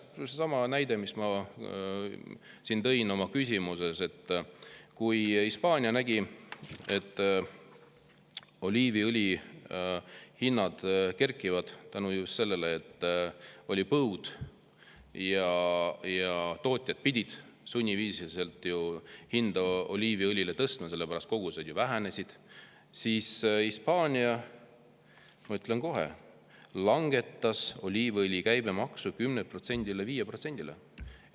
Minu arust seesama näide, mis ma tõin oma küsimuses, et kui Hispaania nägi, et oliiviõlihinnad kerkivad, kuna oli põud ja tootjad pidid sunniviisiliselt oliiviõlil hinda tõstma, sest kogused vähenesid, siis Hispaania langetas oliiviõli käibemaksu 10%‑lt 5%‑le.